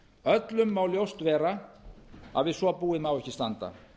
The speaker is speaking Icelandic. öllum má ljóst vera að við svo búið má ekki standa